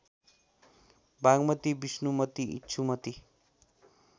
Bagmati Bishnumati Ikshumati